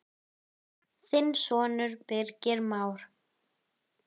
Þinn sonur, Birgir Már.